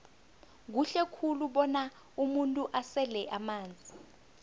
kuhle khulu bona umuntu asele amanzi